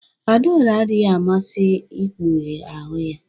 Adaora adịghị amasị ikpughe ahụ ya